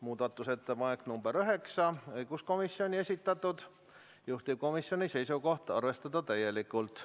Muudatusettepanek nr 9, õiguskomisjoni esitatud, juhtivkomisjoni seisukoht: arvestada täielikult.